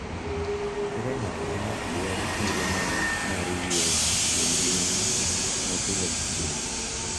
Kaka ng’ato ka ng’ato dwaro thuolo moro mar yweyo kuom ngimane ma pile ka pile.